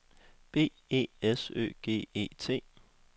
B E S Ø G E T